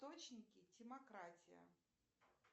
источники демократия